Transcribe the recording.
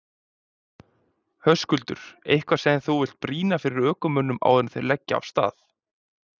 Höskuldur: Eitthvað sem þú vilt brýna fyrir ökumönnum áður en þeir leggja af stað?